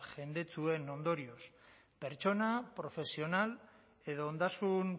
jendetsu horren ondorioz pertsona profesional edo ondasun